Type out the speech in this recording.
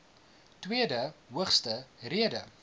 tweede hoogste rede